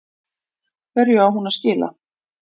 Hverju á hún að skila?